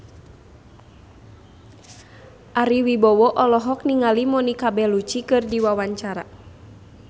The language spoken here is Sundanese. Ari Wibowo olohok ningali Monica Belluci keur diwawancara